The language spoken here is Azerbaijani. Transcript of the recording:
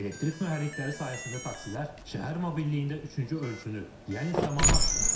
Elektrik mühərrikləri sayəsində taksilər şəhər mobilliyində üçüncü ölçünü, yəni səmanı açır.